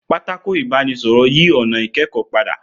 Pátákó ibanisoro yí ònà ikẹkọ pada